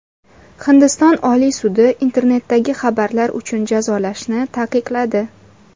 Hindiston Oliy sudi internetdagi xabarlar uchun jazolashni taqiqladi.